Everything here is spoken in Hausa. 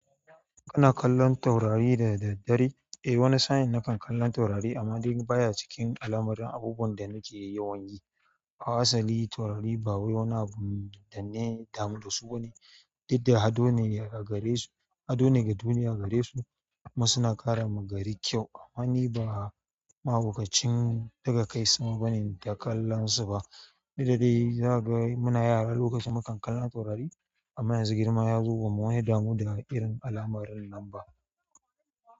Kana kallon taurari da daddare? Eh, wani sa'in nakan kallon taurari amma dai baya cikin alamarun abubuwan da nake yawan yi. A asali taurari ba wai wani abu danne damu da su bane, duk da hado ne ga duniya gare su. Kuma suna ƙara ma gari kyau amma ni ba ma'abokacin ɗaga kai sama bane inta kallon su ba. Duk dadai zaga muna yara lokacin mu kan kallon taurari amma yanzu girma ya zo kuma mun yi damu da irin al'amarin nan ba.